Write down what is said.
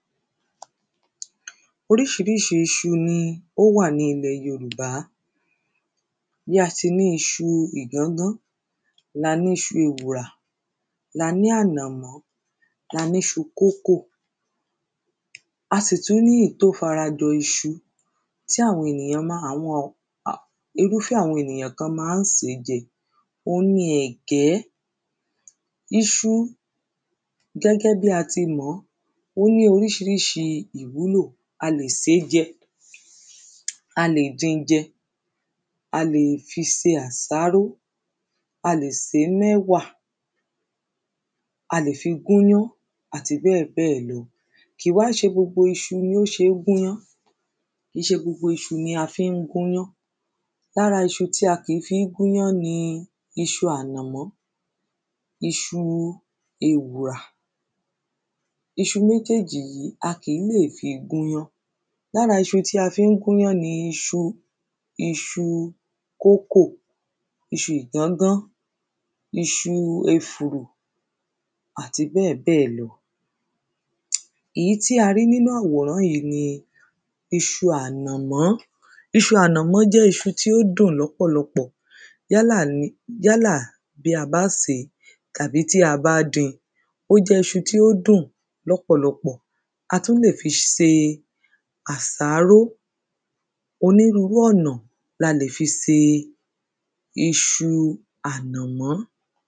Oríṣiríṣi iṣu ni ó wà ní ilẹ̀ yorùbá Bí a ti ní iṣu ìgángán ni a ní iṣu ewùrà ni a ní ànàmọ́ ni a ni iṣu kókò A sì tún ní èyí tí o ́fara jọ iṣu tí irúfé àwọn ènìyàn kan má ń sè é jẹ Òun ni ẹ̀gẹ́ Iṣu gẹ́gẹ́ bíi a ti mọ̀ ọ́ Ó ní oríṣiríṣi ìwúlò A lè sè é jẹ A lè din jẹ A lè fi ṣe àsáró A lè sè é mọ́ ẹ̀wà A lè fi gún iyań àti bẹ́ẹ̀bẹ́ẹ̀ lọ Kìí wá ń ṣe gbogbo iṣu ni ó ṣe é gúnyán Kìí ṣe gbogbo iṣu ni a fí ń gúnyán Lára iṣu tí a kìí fi ń gúnyán ni iṣu ànàmọ́ Iṣu ewùrà Iṣu méjéèjì yìí a kì ń lè fi gún iyán Lára iṣu tí a fí ń gúnyán ni iṣu iṣu kókò iṣu ìgángán Iṣu efùrù àti bẹ́ẹ̀bẹ́ẹ̀ lọ Ìyí tí a rí nínú àwòrán yìí ni iṣu ànàmọ́ Iṣu ànàmọ́ jẹ́ iṣu tí ó dùn lọ́pọ̀lọpọ̀ Yálà bí a bá sè é tàbí tí a bá din Ó jẹ́ iṣu tí ó dùn lọ́pọ̀lọpọ̀ A tún lè fi se àsáró Onírurú ọ̀nà ni a lè fi se iṣu ànàmọ́